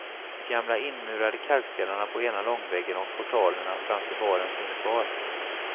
De gamla inmurade kalkstenarna på ena långväggen och portalerna framför baren finns kvar.